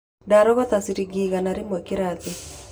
Ndarogota ciringi igana rĩmwe kĩrathi.